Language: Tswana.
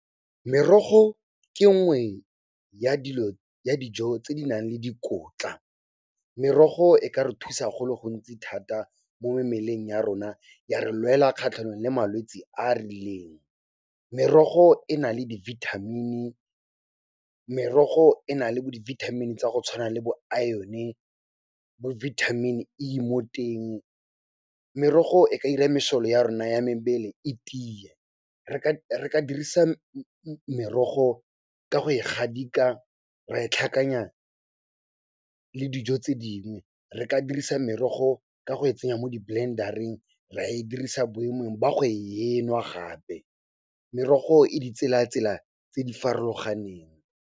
Merogo ke nngwe ya dilo, ya dijo tse di nang le dikotla. Merogo e ka re thusa go le gontsi thata mo mmeleng ya rona, ya re lwela kgatlhanong le malwetsi a a rileng. Merogo e na le di vitamin-i, merogo e na le bo di vitamin-i tsa go tshwana le bo iron, bo vitamin E mo teng. Merogo e ka ira masole ya rona ya mebele e tiye. Re ka dirisa merogo ka go e gadika, re e tlhakanya le dijo tse dingwe. Re ka dirisa merogo ka go e tsenya mo di blender-eng, ra e dirisa boemong ba go enwa gape. Merogo e ditsela-tsela tse di farologaneng.